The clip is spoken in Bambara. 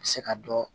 A bɛ se ka dɔ